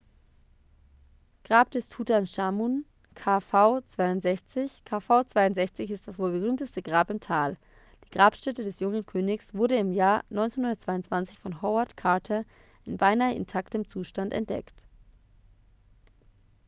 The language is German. grab des tutanchamun kv62. kv62 ist das wohl berühmteste grab im tal. die grabstätte des jungen königs wurde im jahr 1922 von howard carter in beinahe intaktem zustand entdeckt